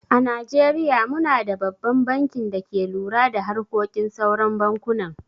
A najeriya mu na da babban bankin da ke lura da harkokin sauran bankunan.